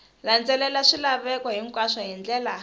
landzelela swilaveko hinkwaswo hi ndlela